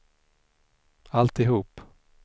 alltihop